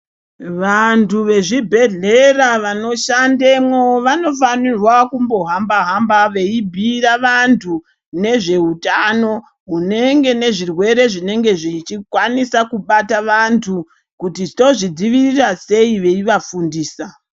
Vantu vezvibhedhlera vanoshandemwo vanofanirwa kumbohamba-hamba veibhuira vantu nezveutano hunenge nezvirwere zvinenge zvichikwanisa kubata vantu kuti tozvidzivirira sei veivafundisa.